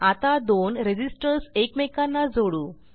आता दोन रेझिस्टर्स एकमेकांना जोडू